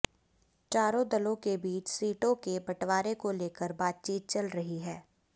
चारों दलों के बीच सीटों के बंटवारे को लेकर बातचीत चल रही है